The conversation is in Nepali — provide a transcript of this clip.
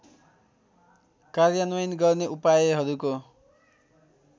कार्यान्वयन गर्ने उपायहरूको